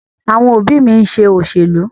Àwọn òbí mi ń ṣe òṣèlú.